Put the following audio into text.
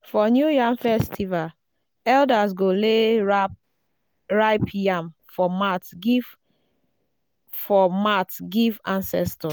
for new yam festival elders go lay ripe yam for mat give for mat give ancestors.